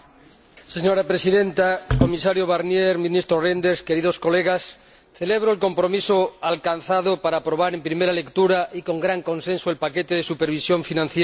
Señora Presidenta, Comisario Barnier, Ministro Reynders, queridos colegas, celebro el compromiso alcanzado para aprobar, en primera lectura y con gran consenso, el paquete de supervisión financiera.